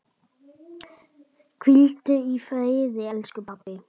Hvíldu í friði elsku pabbi.